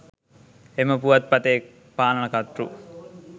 එම පුවත්පතේ පාලන කර්තෘ